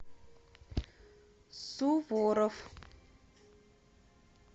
суворов